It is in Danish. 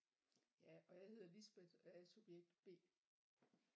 Ja og jeg hedder Lisbeth og jeg er subjekt B